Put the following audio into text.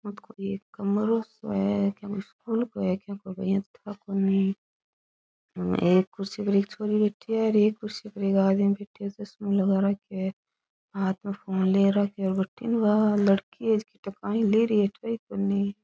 ओ तो कोई एक कमरों सो है के को स्कूल को है के को है ठा कोनी एक कुर्सी पर एक छोरी बैठी है और एक कुर्सी पे एक आदमी बैठे है चस्मो लगा राख्यो है हाथ में फोन ले राखे है बठीन बा लड़की हे जकी काई ले रही है ठई कोनी।